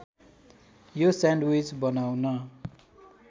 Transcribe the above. यो स्यान्डविच बनाउन